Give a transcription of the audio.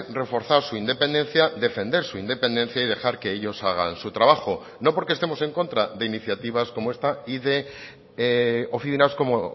reforzar su independencia defender su independencia y dejar que ellos hagan su trabajo no porque estemos en contra de iniciativas como esta y de oficinas como